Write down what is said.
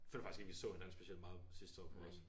Føler faktisk ikke vi så hinanden specielt meget sidste år på Ros